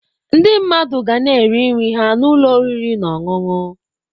Ndị mmadụ ga-eri nri ha na ụlọ oriri na ọṅụṅụ.